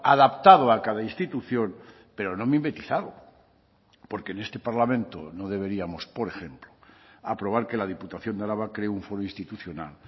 adaptado a cada institución pero no mimetizado porque en este parlamento no deberíamos por ejemplo aprobar que la diputación de araba cree un foro institucional